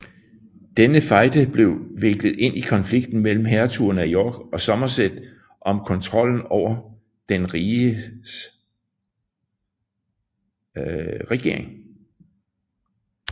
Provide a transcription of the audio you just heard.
Denne fejde blev viklet ind i konflikten mellem hertugerne af York og Somerset om kontrollen over den rigets regering